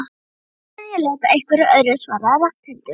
Á meðan ég leita að einhverju öðru svaraði Ragnhildur.